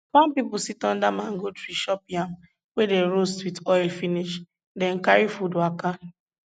farm pipo sit under mango tree chop yam wey dey roast with oil finish then carry food waka